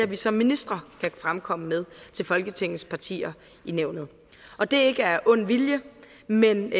vi som ministre kan fremkomme med til folketingets partier i nævnet og det er ikke af ond vilje men